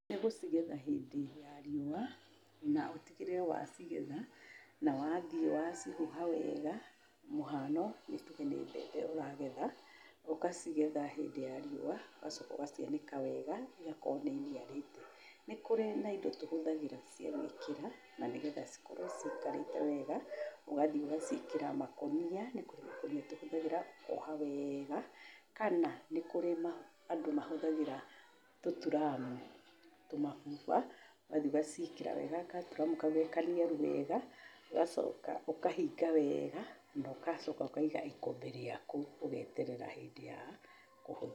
Nĩ gũcigetha hĩndĩ ya rĩũwa na ũtigĩrĩre wacigetha na wathiĩ wacihuha wega, mũhano nĩ tuge nĩ mbembe ũragetha ũgacigetha hindĩ ya rĩũwa ũgacoka ũgacianĩka wega ĩgakorwo nĩ ĩniarĩte. Nĩ kũrĩ na indo tũhũthagĩra cia gwĩkĩra na nĩgetha cikorwo cikarĩte wega ũgathiĩ ũgaciĩkĩra makũnia, nĩ kũrĩ makũnia tũhũthagĩra ũkoha wega kana nĩ kũrĩ andũ mahũthagĩra tũturamu, tũmabuba ũgathiĩ ũgaciĩkĩra wega gaturamu kau ge kaniaru wega ũgacoka ũkahinga wega na ũgacoka ũkaiga ĩkũmbĩ rĩaku, ũgeterera hindĩ ya kũhũthĩra.